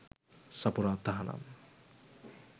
සපුරා තහනම්.